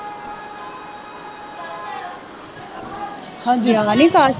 ਆਹ ਗਿਆ ਨਹੀਂ ਕਾਲਜ